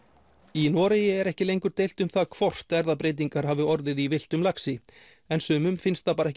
í Noregi er ekki lengur deilt um það hvort erfðabreytingar hafi orðið í villtum laxi en sumum finnst það ekki